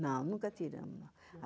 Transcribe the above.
Não, nunca tiramos.